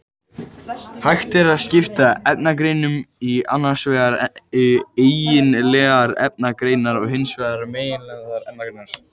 Hægt er að skipta efnagreiningum í annars vegar eigindlegar efnagreiningar og hins vegar megindlegar efnagreiningar.